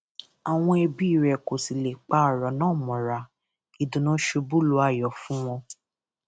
àwọn ẹbí rẹ kò sì lè pa ọrọ náà mọra ìdùnnú ṣubú lu ayọ fún wọn